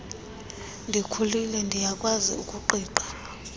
ndikhulile ndiyakwazi ukuqiqa